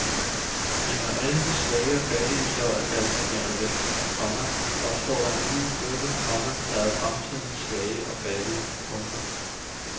Men når alle de svage og fattige så er balsameret væk, komma opstår der en ny gruppe, komma der er fremtidens svage og fattige. punktum